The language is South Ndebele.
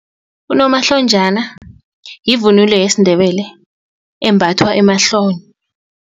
Unomahlonjana yivunulo yesiNdebele embathwa emahlombe.